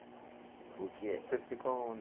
Porque. Você ficou aonde?